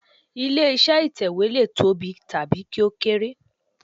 Ilé iṣẹ́ ìtẹ̀wẹ́ lè tóbi tàbí kí ó kéré.